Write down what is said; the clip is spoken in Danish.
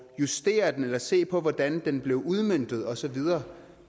justere den eller se på hvordan den blev udmøntet og så videre